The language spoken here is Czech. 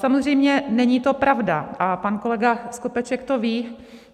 Samozřejmě není to pravda, a pan kolega Skopeček to ví.